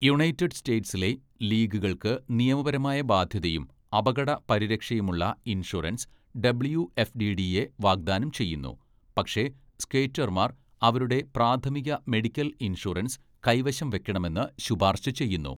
United സ്റ്റേറ്റ്സിലെ ലീഗുകൾക്ക് നിയമപരമായ ബാധ്യതയും അപകട പരിരക്ഷയുമുള്ള ഇൻഷുറൻസ് ഡബ്ള്യുഎഫ്ടിഡിഎ വാഗ്ദാനം ചെയ്യുന്നു, പക്ഷേ സ്കേറ്റർമാർ അവരുടെ പ്രാഥമിക മെഡിക്കൽ ഇൻഷുറൻസ് കൈവശം വയ്ക്കണമെന്ന് ശുപാർശ ചെയ്യുന്നു.